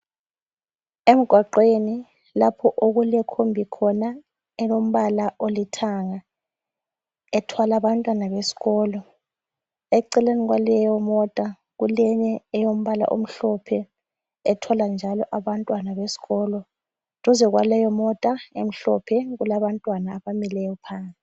Emgwaqweni lapho okulekhombi khona elombala olithanga ethwala bantwana besikolo eceleni kwaleyo mota kuleyinye eyombala omhlophe ethwala njalo abantwana besikolo duze kwaleyo mota emhlophe kulabantwana abamileyo phandle